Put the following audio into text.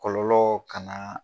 Kɔlɔlɔ kalan